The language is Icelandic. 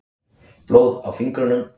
Blóð á fingrunum.